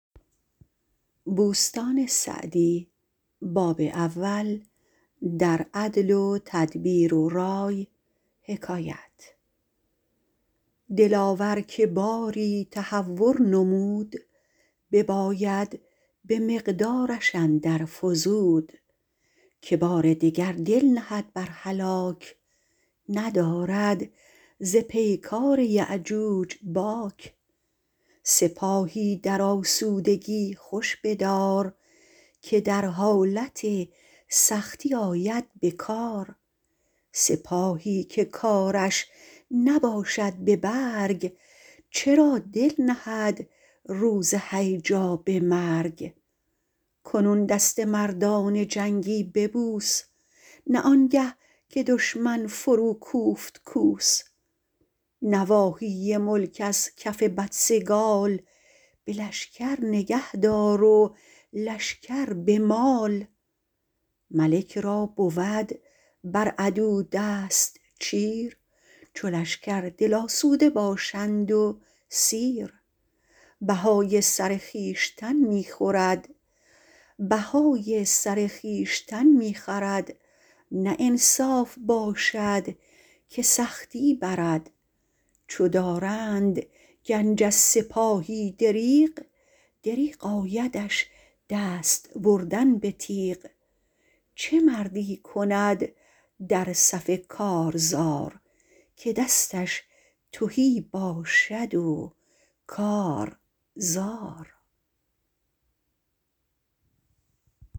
دلاور که باری تهور نمود بباید به مقدارش اندر فزود که بار دگر دل نهد بر هلاک ندارد ز پیکار یأجوج باک سپاهی در آسودگی خوش بدار که در حالت سختی آید به کار سپاهی که کارش نباشد به برگ چرا دل نهد روز هیجا به مرگ کنون دست مردان جنگی ببوس نه آنگه که دشمن فرو کوفت کوس نواحی ملک از کف بدسگال به لشکر نگه دار و لشکر به مال ملک را بود بر عدو دست چیر چو لشکر دل آسوده باشند و سیر بهای سر خویشتن می خورد نه انصاف باشد که سختی برد چو دارند گنج از سپاهی دریغ دریغ آیدش دست بردن به تیغ چه مردی کند در صف کارزار که دستش تهی باشد و کار زار